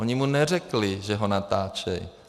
Oni mu neřekli, že ho natáčejí.